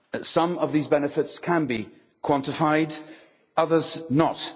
Some of these benefits can be quantified, others not.